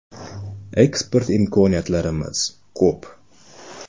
“Eksport imkoniyatlarimiz ko‘p.